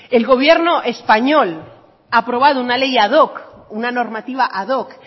el gobierno español ha aprobado una ley ad hoc una normativa ad hoc